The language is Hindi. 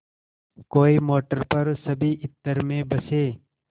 कोई मोटर पर सभी इत्र में बसे